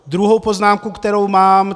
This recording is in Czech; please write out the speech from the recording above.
Druhá poznámka, kterou mám.